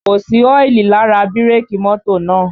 Kò sí ọ́ìlì lára bírèkì mọ́tò náà